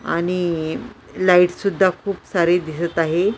आणि लाईट सुद्धा खूप सारी दिसत आहे.